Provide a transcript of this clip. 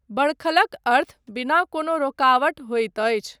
बडखलक अर्थ बिना कोनो रोकावट होइत अछि।